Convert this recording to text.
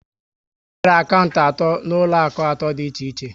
E nwere akantị atọ n'ụlọaku atọ dị iche iche